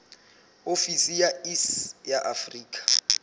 ofisi ya iss ya afrika